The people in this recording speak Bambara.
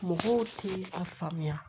Mɔgɔw ti a faamuya